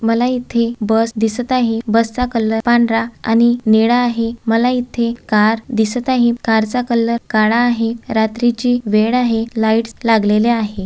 मला इथे बस दिसत आहे बसचा कलर पांढरा आणि निळा आहे मला इथे कार दिसत आहे कारचा कलर काळा आहे रात्रीची वेळ आहे लाइट्स लागलेल्या आहे.